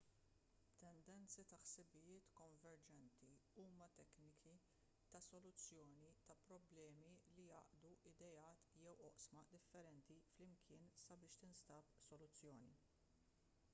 tendenzi ta' ħsibijiet konverġenti huma tekniki ta' soluzzjoni ta' problemi li jgħaqqdu ideat jew oqsma differenti flimkien sabiex tinstab soluzzjoni